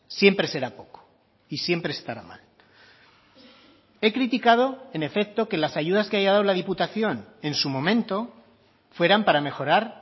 siempre será poco y siempre estará mal he criticado en efecto que las ayudas que haya dado la diputación en su momento fueran para mejorar